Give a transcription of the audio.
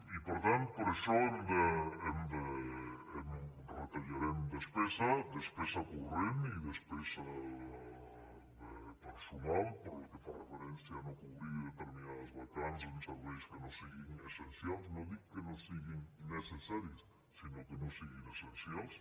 i per tant per això retallarem despesa despesa corrent i despesa de personal pel que fa referència a no cobrir determinades vacants en serveis que no siguin essencials no dic que no siguin necessaris sinó que no siguin essencials